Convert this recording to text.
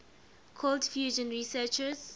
cold fusion researchers